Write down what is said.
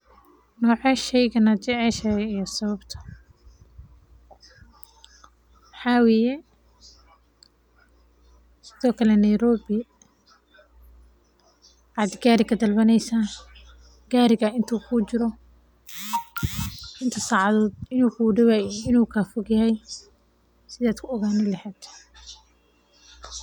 Nocee sheygan ayaa jeceshahay iyo sababta waxaa waye sido kale Nairobi aad gaari ka dalbaneysa intuu kuu jiro inuu kuu daw yahay.